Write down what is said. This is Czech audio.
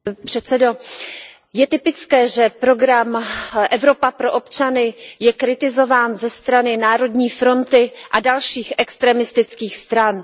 Pane předsedající, je typické, že program Evropa pro občany je kritizován ze strany Národní fronty a dalších extremistických stran.